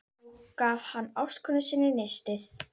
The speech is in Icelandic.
Nú gaf hann ástkonu sinni nistið.